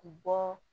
U bɔ